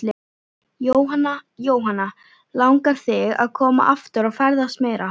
Jóhanna: Langar þig að koma aftur og ferðast meira?